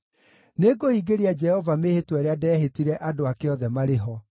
Nĩngũhingĩria Jehova mĩĩhĩtwa ĩrĩa ndehĩtire andũ ake othe marĩ ho,